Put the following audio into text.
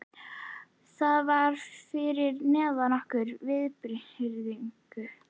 Það var fyrir neðan okkar virðingu.